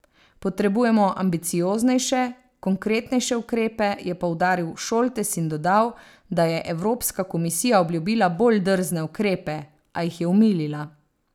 Potrebujemo ambicioznejše, konkretnejše ukrepe, je poudaril Šoltes in dodal, da je Evropska komisija obljubila bolj drzne ukrepe, a jih je omilila.